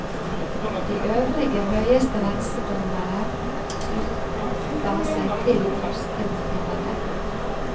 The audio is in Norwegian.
De øvrige høyesterettsdommere slutta seg til førstevoterende.